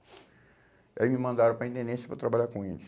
Aí me mandaram para a intendência para trabalhar com eles.